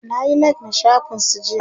nayi like na shafin su jiya